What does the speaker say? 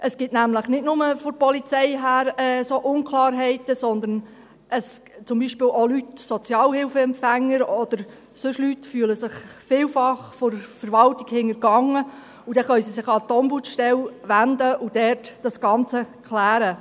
Es gibt nämlich nicht nur von der Polizei her solche Unklarheiten, sondern es fühlen sich zum Beispiel auch Sozialhilfeempfänger oder sonst Leute vielfach von der Verwaltung hintergangen, und dann können sie sich an die Ombudsstelle wenden und dort das Ganze klären.